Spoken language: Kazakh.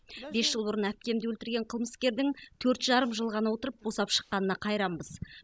бес жыл бұрын әпкемді өлтірген қылмыскердің төрт жарым жыл ғана отырып босап шыққанына қайранбыз